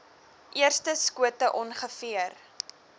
eerste skote ongeveer